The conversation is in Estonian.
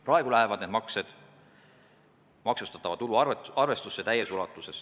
Praegu lähevad need maksed täies ulatuses maksustatava tulu arvestusse.